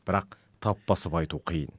бірақ тап басып айту қиын